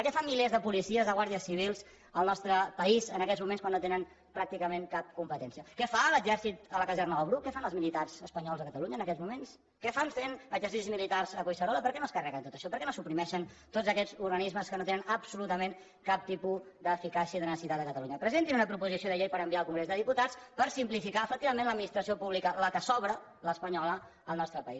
què fan milers de policies de guàrdies civils al nostre país en aquests moments quan no tenen pràcticament cap competència què fa l’exèrcit a la caserna del bruc què fan els militars espanyols a catalunya en aquests moments què fan fent exercicis militars a collserola per què no es carreguen tot això per què no suprimeixen tots aquests organismes que no tenen absolutament cap tipus d’eficàcia i de necessitat a catalunya presentin una proposició de llei per enviar al congrés dels diputats per simplificar efectivament l’administració pública la que sobra l’espanyola al nostre país